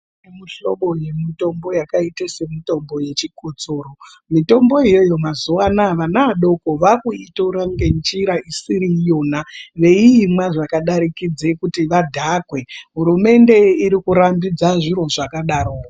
Muhlobo yemutombo yakaita semutombo wechikotsoro, mitombo itoyo mazuwa anaya vana vadoko vakuitora ngenjira isiri iyona veiimwa zvakadarikidza kuti vadhakwe hurumende irikurambidza zviro zvakadaro.